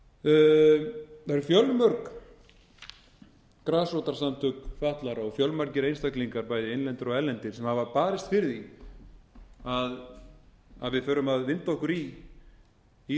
það eru fjölmörg grasrótarsamtök fatlaðra og fjölmargir einstaklingar bæði innlendir og erlendir sem hafa barist fyrir því að við þurfum að vinda okkur í það